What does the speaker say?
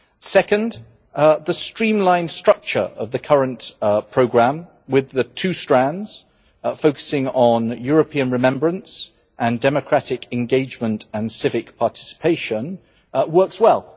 Second, the streamlined structure of the current programme, with the two strands focusing on European remembrance and on democratic engagement and civic participation, works well.